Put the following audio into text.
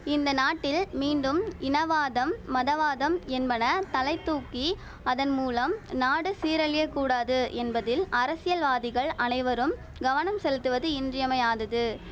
இந்த நாட்டில் மீண்டும் இனவாதம் மதவாதம் என்பன தலை தூக்கி அதன் மூலம் நாடு சீரழியக்கூடாது என்பதில் அரசியல்வாதிகள் அனைவரும் கவனம் செலுத்துவது இன்றியமையாதது